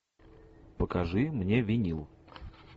покажи мне винил